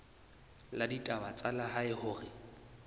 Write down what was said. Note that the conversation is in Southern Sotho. la ditaba tsa lehae hore